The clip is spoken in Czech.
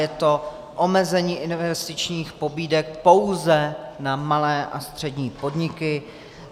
Je to omezení investičních pobídek pouze na malé a střední podniky.